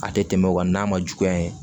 A tɛ tɛmɛ o kan n'a ma juguya